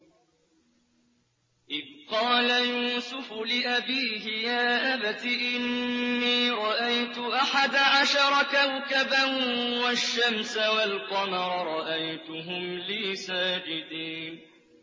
إِذْ قَالَ يُوسُفُ لِأَبِيهِ يَا أَبَتِ إِنِّي رَأَيْتُ أَحَدَ عَشَرَ كَوْكَبًا وَالشَّمْسَ وَالْقَمَرَ رَأَيْتُهُمْ لِي سَاجِدِينَ